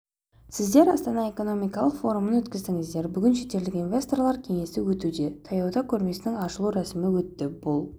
сіздер астана экономикалық форумын өткіздіңіздер бүгін шетелдік инвесторлар кеңесі өтуде таяуда көрмесінің ашылу рәсімі өтті бұл